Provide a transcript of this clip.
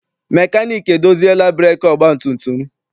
Mekaniiki edoziela breekị ọgbatumtum m.